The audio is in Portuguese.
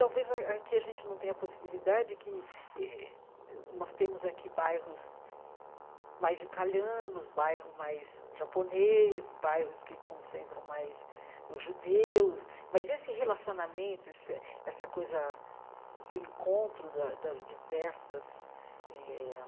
Talvez a aqui a gente não tenha a possibilidade que eh... Nós temos aqui bairros mais italianos, bairro mais japonês, bairros que concentram mais os judeus, mas esse relacionamento, esse essa coisa do encontro da das diversas eh